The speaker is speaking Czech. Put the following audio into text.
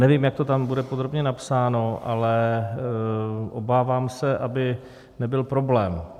Nevím, jak to tam bude podrobně napsáno, ale obávám se, aby nebyl problém.